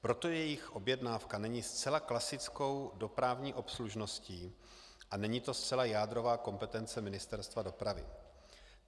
Proto jejich objednávka není zcela klasickou dopravní obslužností a není to zcela jádrová kompetence Ministerstva dopravy.